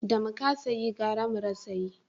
Da mu kasa yi gara mu rasa yi